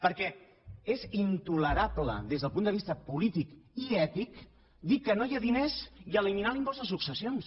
perquè és intolerable des del punt de vista polític i ètic dir que no hi ha diners i eliminar l’impost de successions